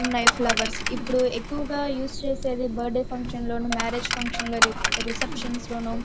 ఇది ఎక్కువగా పెళ్లి లో ఇంకా చాలా వాటికీ ఇది వాడుతారు కూడా.